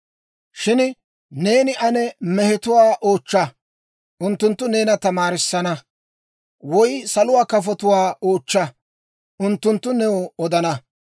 «Shin neeni ane mehetuwaa oochcha; unttunttu neena tamaarissana. Woy saluwaa kafotuwaa oochcha; unttunttu new odana.